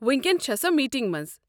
وٕنۍکٮ۪ن چھےٚ سۄ میٖٹنٛگہِ منٛز۔